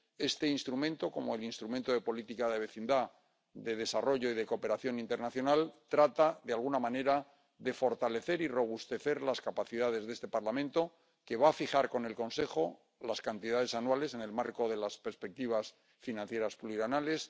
Este instrumento, como el Instrumento de Política de Vecindad, Desarrollo y Cooperación Internacional, trata de fortalecer y robustecer las capacidades de este Parlamento, que va a fijar con el Consejo las cantidades anuales, en el marco de las perspectivas financieras plurianuales.